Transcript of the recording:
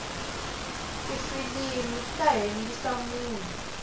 tifilimu ta hembisa munhu